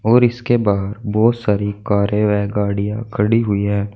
और इसके बाहर बहोत सारी कारे वे गाड़ियां खड़ी हुई है।